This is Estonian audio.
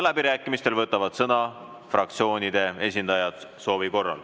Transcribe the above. Läbirääkimistel võtavad soovi korral sõna fraktsioonide esindajad.